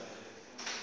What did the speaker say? udladla